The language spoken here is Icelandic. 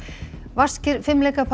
vaskir